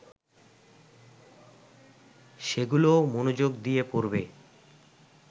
সেগুলোও মনোযোগ দিয়ে পড়বে